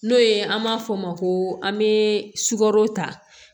N'o ye an b'a fɔ o ma ko an bɛ sukaro ta